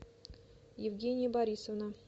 евгения борисовна